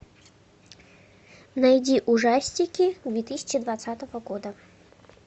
найди ужастики две тысячи двадцатого года